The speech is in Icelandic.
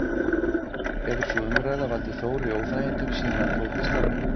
Hefur sú umræða valdið Þóri óþægindum síðan hann tók við starfinu?